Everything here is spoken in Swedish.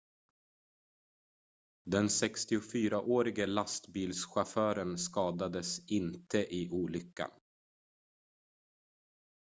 den 64-årige lastbilschauffören skadades inte i olyckan